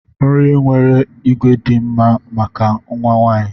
Nri nwere ígwè dị mma maka nwa nwanyị.